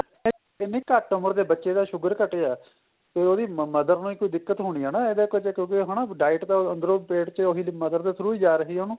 ਇੰਨੀ ਘੱਟ ਉਮਰ ਦੇ ਬੱਚੇ ਦਾ sugar ਘਟਿਆ ਫੇਰ ਉਹਦੀ mother ਨੂੰ ਕੋਈ ਦਿਕਤ ਹੋਣੀ ਏ ਨਾ ਇਹਦੇ ਕਿਉਂਕਿ diet ਤਾਂ ਪੇਟ ਚ mother ਦੇ through ਹੀ ਜਾ ਰਹੀ ਏ ਉਹਨੂੰ